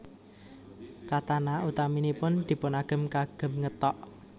Katana utaminipun dipunagem kagem ngethok